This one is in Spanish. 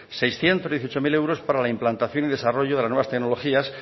seiscientos dieciocho mil para la implantación y desarrollo de las nuevas tecnologías